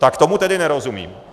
Tak tomu tedy nerozumím.